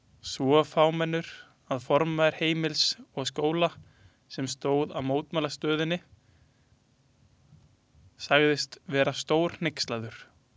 Svo fámennur að formaður Heimilis og Skóla, sem stóð að mótmælastöðunni sagðist vera stórhneykslaður.